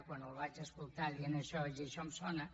quan el vaig escoltar dient això vaig dir això em sona